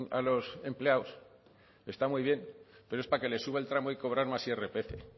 a los empleados está muy bien pero es para que les suba el tramo y cobrar más irpf